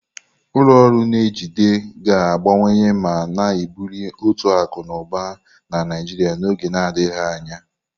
Ulọ ọrụ n'ejide ga-agbanwe ma na-ebuli uto akụ na ụba na Naijiria n'oge na-adịghị anya.